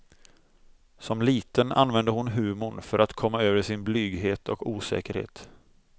Som liten använde hon humorn för att komma över sin blyghet och osäkerhet.